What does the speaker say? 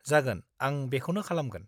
जागोन, आं बेखौनो खालामगोन।